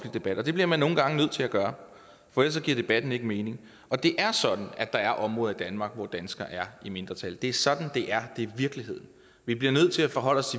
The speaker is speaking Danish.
debat og det bliver man nogle gange nødt til at gøre for ellers giver debatten ikke mening det er sådan at der er områder i danmark hvor danskerne er i mindretal det er sådan det er det er virkeligheden vi bliver nødt til at forholde os